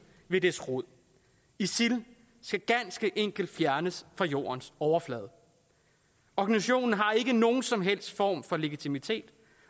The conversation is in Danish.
ved dets rod isil skal ganske enkelt fjernes fra jordens overflade organisationen har ikke nogen som helst form for legitimitet